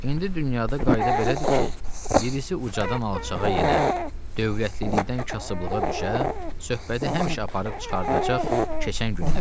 İndi dünyada qayda belədir ki, birisi ucadan alçağa yenə, dövlətlilikdən kasıblığa düşə, söhbəti həmişə aparıb çıxardacaq keçən günlərinə.